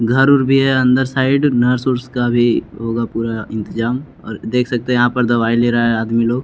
घर उर भी है अंदर साइड नर्स उर्स का भी होगा पूरा इंतजाम और देख सकते हैं यहाँ पर दवाई ले रहा है आदमी लोग --